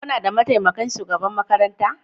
Kuna da mataimakin shugaban makaranta?